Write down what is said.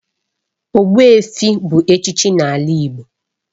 Ogbuefi bu echichi n'ala Igbo